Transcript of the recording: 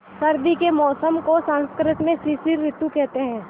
सर्दी के मौसम को संस्कृत में शिशिर ॠतु कहते हैं